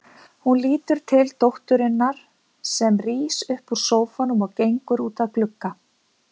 Hún lítur til dótturinnar sem rís upp úr sófanum og gengur út að glugga.